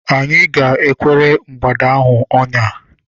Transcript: Anyị ga- ekwere mgbada ahụ ọnya.